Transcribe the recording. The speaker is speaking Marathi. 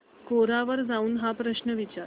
कोरा वर जाऊन हा प्रश्न विचार